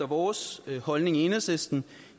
vores holdning i enhedslisten